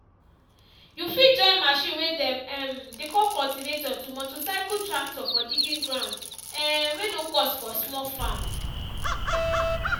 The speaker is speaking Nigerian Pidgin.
you fit join machine way dem um dey call cultivator to motorcycle tractor for digging ground um way no cost for small farm.